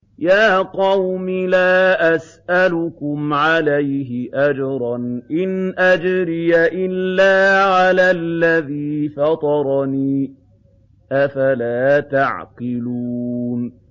يَا قَوْمِ لَا أَسْأَلُكُمْ عَلَيْهِ أَجْرًا ۖ إِنْ أَجْرِيَ إِلَّا عَلَى الَّذِي فَطَرَنِي ۚ أَفَلَا تَعْقِلُونَ